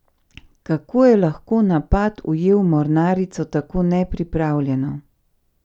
Kako je lahko napad ujel mornarico tako nepripravljeno?